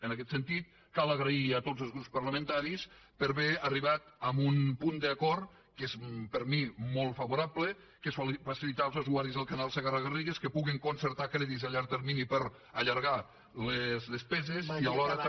en aquest sentit cal agrair a tots els grups parlamentaris per haver arribat a un punt d’acord que és per mi molt favorable que és facilitar als usuaris del canal segarra garrigues que puguin concertar crèdits a llarg termini per a allargar les despeses i alhora també